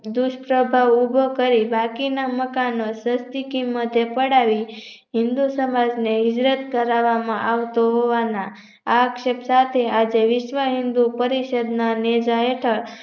દુષ્પ્રભાવ ઉભો કરી બાકીના મકાનો સસ્તી કિંમતે પડાવી હિન્દૂ સમાજને હિજરત કરવામાં આવતું હોવાના આક્ષેત્ર સાથે વિશ્વ હિન્દૂ પરિષદ ના નેજા હેઠળ